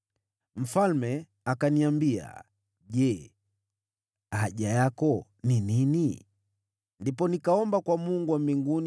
Mfalme akaniambia, “Je, haja yako ni gani?” Ndipo nikaomba kwa Mungu wa mbinguni,